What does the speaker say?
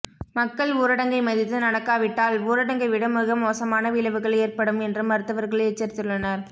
மக்கள் ஊரடங்கை மதித்து நடக்காவிட்டால் ஊரடங்கை விட மிகமோசமான விளைவுகள் ஏற்படும் என்று மருத்துவர்கள் எச்சரித்துள்ளனர்